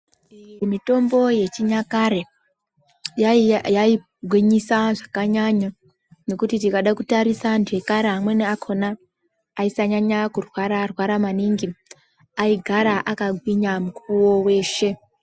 Mitombo yechinyakare yaigwisa zvakanyanya nekuti tikada kutarisa amweni antu ekare akona aisanyanya kurwara rwara maningi aigara akagwinya mukuwo weshe